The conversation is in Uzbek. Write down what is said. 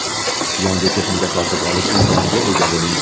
yangi texnika sotib olish imkoniga ega bo‘ling.